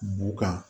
Bu kan